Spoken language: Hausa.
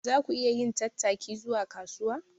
Za ku iya yin tattaki zuwa kasuwa?